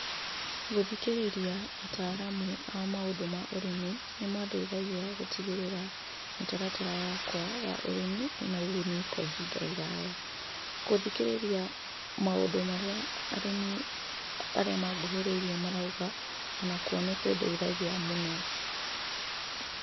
Gũthikĩrĩria ataramu a maũndũ ma ũrĩmi nĩmandeithagia gũtigĩrĩra mĩtaratara yakwa ya ũrĩmi ĩna ũguni kwa ihinda iraya. Gũthikĩrĩria maũndũ marĩa arĩmi arĩa manguhĩrĩirie marauga ona kuo nĩkũndeithagia mũno.